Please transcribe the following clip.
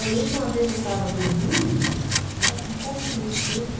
Eu lembro que uma vez eu estava dormindo e eu estava com vontade de comer peixe.